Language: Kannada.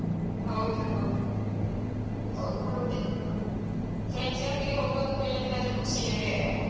ಹೌದು ಹೌದು ಮತ್ತೆ friends ಒಟ್ಟಿಗೆ ಹೋಗುವುದು ಅಂತ ಹೇಳಿದ್ರೆ ಅದರ ಖುಷಿಯೇ ಬೇರೆ ಅಲ.